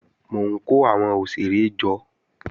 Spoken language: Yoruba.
Mò ń kó àwọn òṣèré jọ